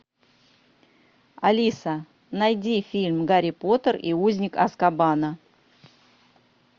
алиса найди фильм гарри поттер и узник азкабана